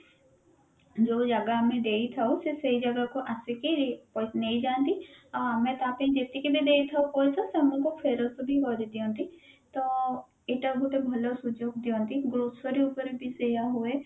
ଯୋଉ ଜାଗା ଆମେ ଦେଇଥାଉ ସେ ସେଇ ଜାଗାକୁ ଆସିକି ନେଇଯାନ୍ତି ଆଉ ଆମେ ତା ପାଇଁ ଯେତିକି ବି ଦେଇଥାଉ ପଇସା ସେ ଆମକୁ ଫେରସ୍ତ ବି କରି ଦିଅନ୍ତି ତ ଏତ ଗୋଟେ ଭଲ ସୁଯୋଗ ଦିଅନ୍ତି grocery ଉପରେ ବି ସେଇଆ ହୁଏ